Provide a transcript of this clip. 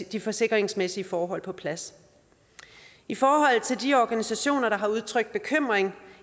de forsikringsmæssige forhold på plads i forhold til de organisationer der har udtrykt bekymring